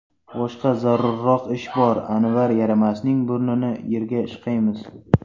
Boshqa zarurroq ish bor, Anvar yaramasning burnini yerga ishqaymiz.